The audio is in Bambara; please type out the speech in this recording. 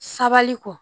Sabali kɔ